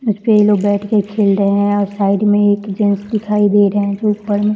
उसपे ये लोग बैठ के खेल रहे हैं और साइड में एक जेंट्स दिखाई दे रहे हैं जो ऊपर में --